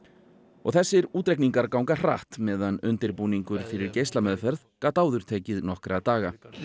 og þessir útreikningar ganga hratt meðan undirbúningur fyrir geislameðferð gat áður tekið nokkra daga við